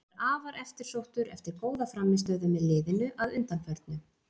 Hann er afar eftirsóttur eftir góða frammistöðu með liðinu að undanförnu.